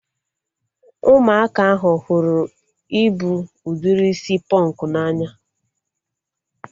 Ụmụaka ahụ hụrụ ịbụ udiri isi pọnkụ n'anya